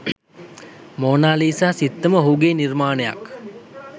Mona Lisa සිත්තම ඔහුගේ නිර්මාණයක්